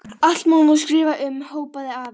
Allt má nú skrifa um, hrópaði afi.